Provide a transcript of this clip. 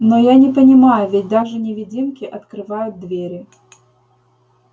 но я не понимаю ведь даже невидимки открывают двери